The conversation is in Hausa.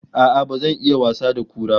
A'a, ba zan iya wasa da kura ba